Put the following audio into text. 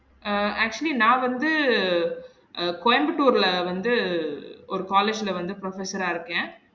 அஹ் actually நா வந்து அ கோயம்பத்தூர்ல வந்து ஒரு college வந்து professor ஆ இருக்கன்